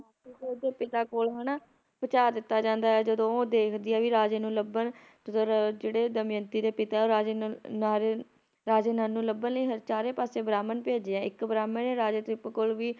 ਨਲ ਦੇ ਪਿਤਾ ਕੋਲ ਹਨਾ ਪੁਚਾ ਦਿੱਤਾ ਜਾਂਦਾ ਆ ਜਦੋ ਉਹ ਦੇਖਦੀ ਆ ਵੀ ਰਾਜੇ ਨੂੰ ਲੱਭਣ ਜਿਹੜੇ ਦਮਿਅੰਤੀ ਦੇ ਪਿਤਾ ਰਾਜੇ ਨਲ ਨਾਰੇ ਰਾਜੇ ਨਲ ਨੂੰ ਲੱਭਣ ਲਈ ਚਾਰੇ ਪਾਸੇ ਬ੍ਰਾਹਮਣ ਭੇਜਿਆ ਇੱਕ ਬ੍ਰਾਹਮਣ ਨੇ ਰਾਜੇ ਕੋਲ ਵੀ